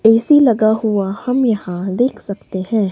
AC लगा हुआ हम यहां देख सकते हैं।